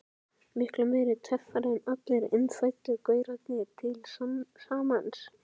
Miklu meiri töffari en allir innfæddu gaurarnir til samans.